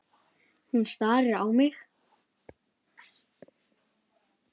Hún starir á mig.